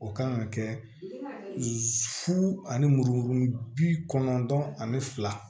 O kan ka kɛ fu ani muru bi kɔnɔntɔn ani fila